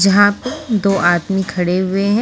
जहां दो आदमी खड़े हुए है।